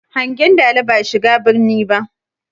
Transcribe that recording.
Hangen dala ba shiga birni ba.